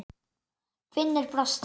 Finnur brosti.